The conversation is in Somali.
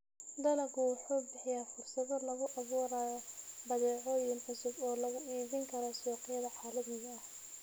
Dalaggu wuxuu bixiyaa fursado lagu abuurayo badeecooyin cusub oo lagu iibin karo suuqyada caalamiga ah.